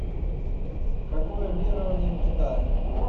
какое верование в китае